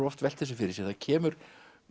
oft velt þessu fyrir sér það kemur